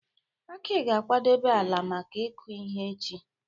Aki ga-akwadebe ala maka ịkụ ihe echi.